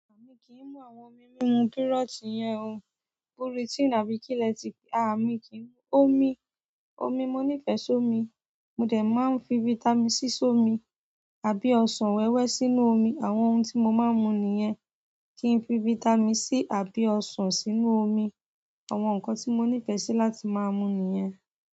À mi kì í mú àwọn omi mímu kírọ́ọ̀tì yẹn o. Pirotinii àbí kíléètìkì, à mi kì í mú omi. Omi, mo nífẹ̀ẹ́ sómi. Mo dẹ̀ máa n fi vitamin C sí omi. Àbí ọsàn wẹ́wẹ́ sínú omi. Àwọn ohun tí mo máa ń mu nìyẹn. Kí n fi fítámì C àbí ọsàn sínú omi. Àwọn nǹkan tí mo nífẹ̀ẹ́ sí láti máa mu nìyẹn.